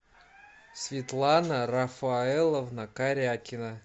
светлана рафаэловна карякина